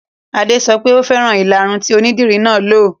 Adé sọ wípé "Ò fẹ́ràn ìlaru tí onídìri náà lo '.